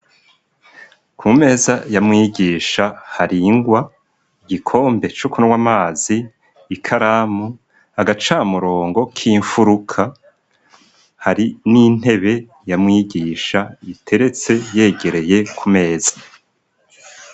Ku meza ya mwigisha haringwa igikombe cuku nw'amazi ikaramu agacamurongo k'imfuruka hari n'intebe ya mwigisha iteretse yegereye ku meza.